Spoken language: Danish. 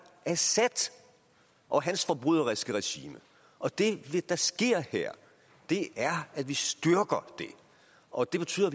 assad og hans forbryderiske regime og at det der sker her er at vi styrker det og at det betyder